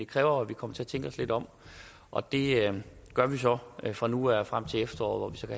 kræver at vi kommer til at tænke os lidt om og det gør vi så fra nu af og frem til efteråret